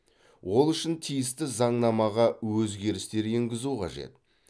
ол үшін тиісті заңнамаға өзгерістер енгізу қажет